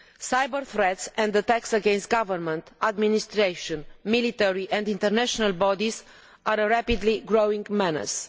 Cyber threats and attacks against government, administration, military and international bodies are a rapidly growing menace.